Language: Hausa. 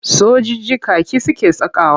Sojiji kaki suke sakawa.